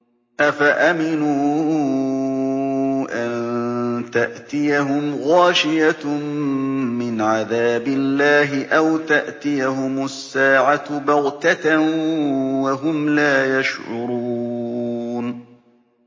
أَفَأَمِنُوا أَن تَأْتِيَهُمْ غَاشِيَةٌ مِّنْ عَذَابِ اللَّهِ أَوْ تَأْتِيَهُمُ السَّاعَةُ بَغْتَةً وَهُمْ لَا يَشْعُرُونَ